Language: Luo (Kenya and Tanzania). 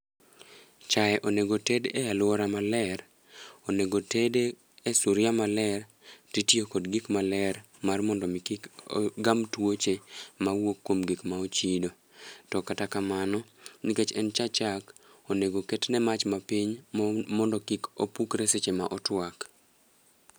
chae onego ted e aluora maler, onego tede e suguria maler ti tiyo kod gik maler mar mondo mi kik ogam tuoche mawuok kuom gik ma ochido to kata kamano, nikech en cha chak onego oket ne chak mapiny mondo kik opukre seche ma otuak